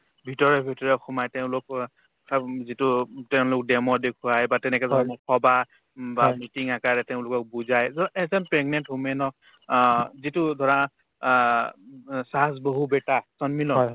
ভিতৰে ভিতৰে সোমাই তেওঁলোক অ প্ৰথম যিটো তেওঁলোকক demo দেখুৱাই বা তেনেকাধৰণৰ সভা বা meeting আকাৰে তেওঁলোকক বুজাই ধৰা এটা pregnant woman ক অ যিটো ধৰা অ ওব saas বাহু beta সন্মিল হয়